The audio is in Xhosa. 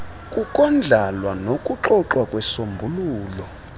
kokondlalwa nokuxoxwa kwesisombululo